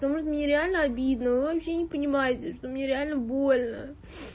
потому что мне реально обидно вы вообще не понимаете что мне реально больно